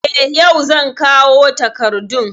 Eh, yau zan kawo takardun